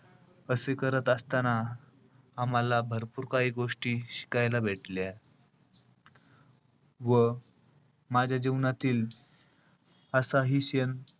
असे करत असताना आम्हाला भरपूर काही गोष्टी शिकायला भेटल्या. व माझ्या जीवनातील असाही क्षण,